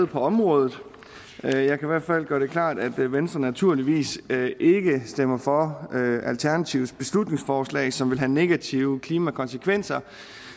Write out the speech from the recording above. på området jeg kan i hvert fald gøre det klart at venstre naturligvis ikke stemmer for alternativets beslutningsforslag som vil have negative klimakonsekvenser